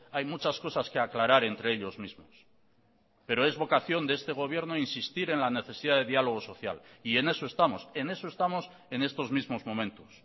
hay muchas cosas que aclarar entre ellos mismos pero es vocación de este gobierno insistir en la necesidad de diálogo social y en eso estamos en eso estamos en estos mismos momentos